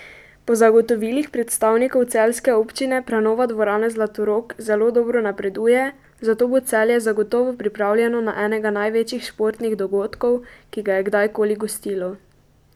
Po zagotovilih predstavnikov celjske občine prenova Dvorane Zlatorog zelo dobro napreduje, zato bo Celje zagotovo pripravljeno na enega največjih športnih dogodkov, ki ga je kdajkoli gostilo.